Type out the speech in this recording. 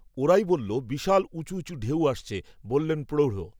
ওরাই বলল, বিশাল উঁচু উঁচু ঢেউ আসছে, বললেন, প্রৌঢ়